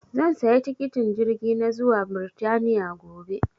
zan saya tikitin jirgi na zuwa birtaniya gobe